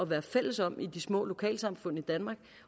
være fælles om i de små lokalsamfund i danmark